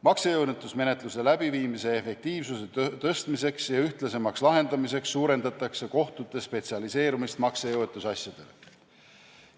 Maksejõuetusmenetluse efektiivsuse tõstmiseks ja ühtlasemaks lahendamiseks suurendatakse kohtute spetsialiseerumist maksejõuetuse asjadele.